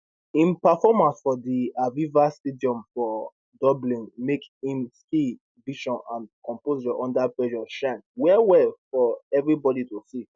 im performance for di aviva stadium for dublin make im skill vision and composure under pressure shine wellwell for evribodi to see